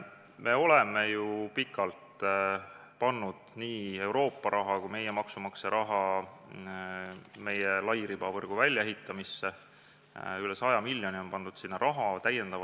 Me oleme ju pikalt pannud nii Euroopa raha kui ka meie maksumaksja raha lairibavõrgu väljaehitamisse, sinna on pandud üle 100 miljoni.